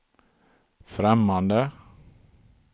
främmande